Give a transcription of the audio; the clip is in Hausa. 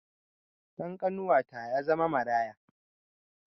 Ɗan ƙanuwata ya zama maraya